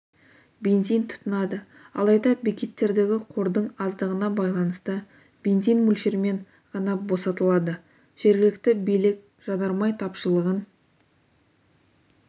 бензин тұтынады алайда бекеттердегі қордың аздығына байланысты бензин мөлшермен ғана босатылады жергілікті билік жанармай тапшылығын